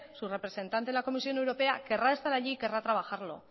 su representante en la comisión europea querrá estar allí querrá trabajarlo